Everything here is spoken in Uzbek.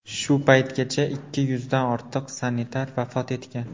Shu paytgacha ikki yuzdan ortiq sanitar vafot etgan.